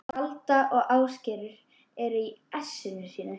Alda og Ásgerður eru í essinu sínu.